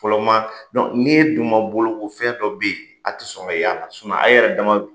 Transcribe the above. Fɔlɔ maa, n'e dun ma boloko fɛn dɔ be yen a ti sɔn ka y'a la. a yɛrɛ dama